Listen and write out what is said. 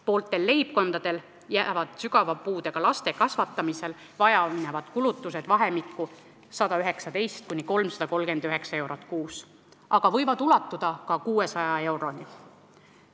Pooltel leibkondadel jäävad sügava puudega lapse kasvatamisel vaja minevad kulutused vahemikku 119–339 eurot kuus, aga need võivad ulatuda ka 600 euroni.